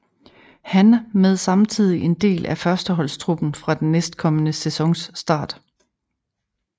Han med samtidig en del af førsteholdstruppen fra den næstkommende sæsons start